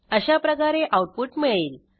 अशाप्रकारे आऊटपुट मिळेल